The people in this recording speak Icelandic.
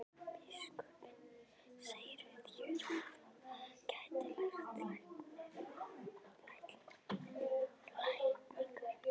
Biskupinn segir við Jóru að hún geti lært lækningar.